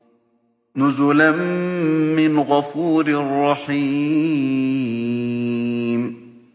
نُزُلًا مِّنْ غَفُورٍ رَّحِيمٍ